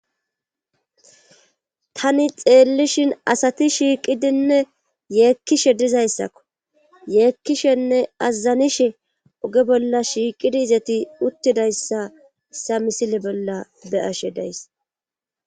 tani xeellishin asati shiiqidinne yeekkishe dizayssakko yeekkishenne azazanishe oge bolla shiiqidi izeti uttidayssa sa misile bolla be'ashe days